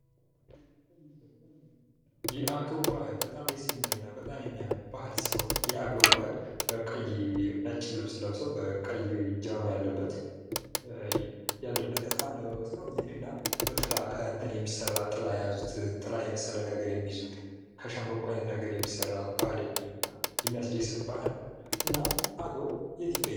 የአገው ባህል በጣም ደስ የሚልና በጣም የሚያምር ባህር ሲሆን የአገው ባህል ነጭ ልብስ ለብሰው የቀይ ጃኖ ያለበት አለባበስ ነው ጥላ አይነት ነገር የሚይዙ ከሸምበቆ አይነት የሚሰራ እና አገው የት ይገኛል?